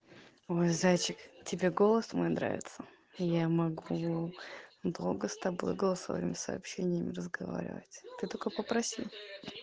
ой зайчик тебе голос мой нравится я могу долго с тобой голосовыми сообщениями разговаривать ты только попроси